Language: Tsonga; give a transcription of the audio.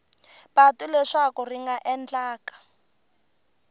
patu leswaku swi nga endleka